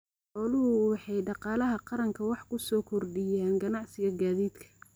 Xooluhu waxay dhaqaalaha qaranka wax ku soo kordhiyaan ganacsiga gaadiidka.